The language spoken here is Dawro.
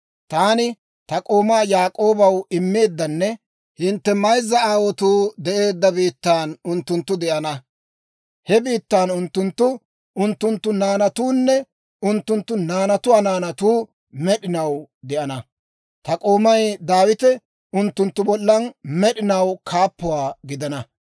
Taani ta k'oomaa Yaak'oobaw immeeddanne hintte mayzza aawotuu de'eedda biittan unttunttu de'ana. He biittan unttunttu, unttunttu naanatuunne unttunttu naanatuwaa naanatuu med'inaw de'ana; ta k'oomay Daawite unttunttu bollan med'inaw kaappuwaa gidana.